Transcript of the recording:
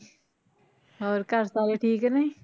ਹੋਰ ਘਰ ਸਾਰੇ ਠੀਕ ਨੇ?